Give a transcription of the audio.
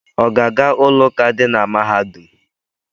Ọ ga-aga ụlọụka dị na mahadum?